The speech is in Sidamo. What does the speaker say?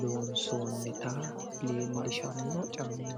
loonsoonnita leellishanno caammaati.